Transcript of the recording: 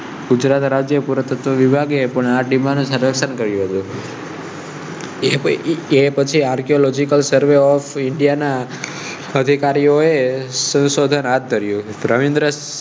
ગુજરાત રાજ્ય પુરાતત્વ વિભાગે પણ આટલી માં ને સરસ. એ પછી archeological surve of india ના અધિકારીઓએ શંશોધન છે.